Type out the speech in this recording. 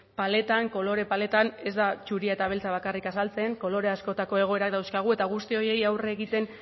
paletan kolore paletan ez da zuria eta beltza bakarrik azaltzen kolore askotako egoerak dauzkagu eta guzti horiei aurre egiten